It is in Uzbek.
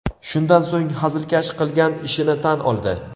Shundan so‘ng hazilkash qilgan ishini tan oldi.